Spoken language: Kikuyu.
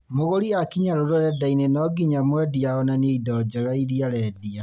Mũgũri aakinya rũrenda-inĩ nonginya mwendia onanie indo njega iria arendia